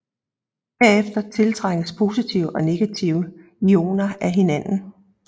Herefter tiltrækkes positive og negative ioner af hinanden